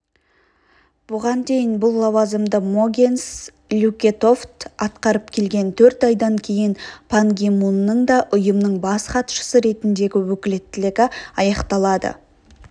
бұған дейін бұл лауазымды могенс люкетофт атқарып келген төрт айдан кейін пан ги мунның да ұйымның бас хатшысы ретіндегі өкілеттілігі аяқталады